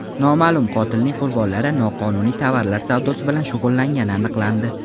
Noma’lum qotilning qurbonlari noqonuniy tovarlar savdosi bilan shug‘ullangani aniqlandi.